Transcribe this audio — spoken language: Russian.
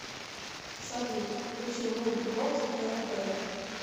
салют включи мульт бокс тэ вэ